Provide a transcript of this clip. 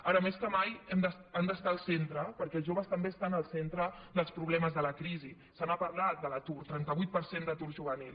ara més que mai han d’estar al centre perquè els joves també estan al centre dels problemes de la crisi se n’ha parlat de l’atur trenta vuit per cent d’atur juvenil